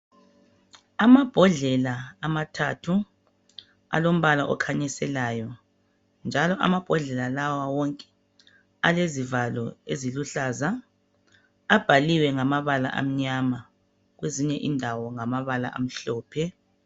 amabhodlela amathathu alombala okhanyiselayo njalo amabhodlela lawa wonke alezivalo eziluhlaza abhaliwe ngamabala amnyama kwezinye indawo ngamabala amhlophe